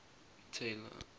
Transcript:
taylor